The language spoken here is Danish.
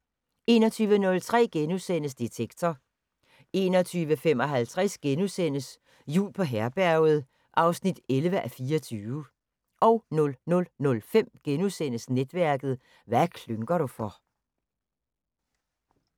21:03: Detektor * 21:55: Jul på Herberget 11:24 (Afs. 11)* 00:05: Netværket: Hvad klynker du for? *